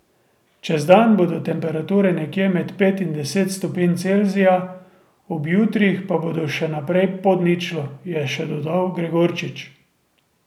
Čez dan bodo temperature nekje med pet in deset stopinj Celzija, ob jutrih pa bodo še naprej pod ničlo, je še dodal Gregorčič.